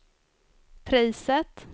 priset